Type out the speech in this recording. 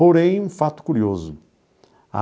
Porém, um fato curioso.